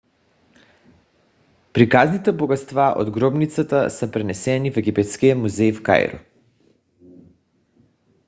приказните богатства от гробницата са пренесени в египетския музей в кайро